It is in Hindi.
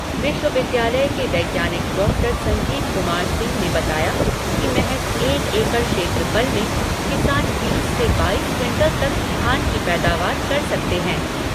विश्वविद्यालय के वैज्ञानिक डॉक्टर संजीव कुमार सिंह ने बताया कि महज एक एकड़ क्षेत्रफल में किसान बीस से बाईस क्विंटल तक धान की पैदावार कर सकते हैं।